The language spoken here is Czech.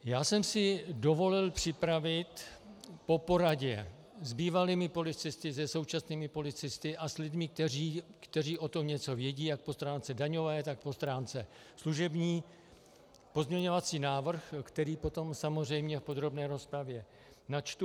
Já jsem si dovolil připravit po poradě s bývalými policisty, se současnými policisty a s lidmi, kteří o tom něco vědí jak po stránce daňové, tak po stránce služební, pozměňovací návrh, který potom samozřejmě v podrobné rozpravě načtu.